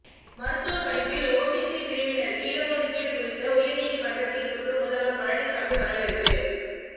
மருத்துவ படிப்பில் ஓபிசி பிரிவினருக்கு இடஒதுக்கீடு குறித்த உயர்நீதிமன்ற தீர்ப்புக்கு முதல்வர் பழனிசாமி வரவேற்பு